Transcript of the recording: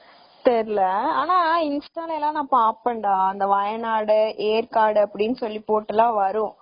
ஆனா insta ல எல்லாம் பாப்பேன்டா இந்த வயநாடு, ஏற்காடு எல்லாம் போட்டு வரும்